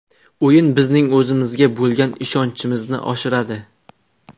O‘yin bizning o‘zimizga bo‘lgan ishonchimizni oshiradi.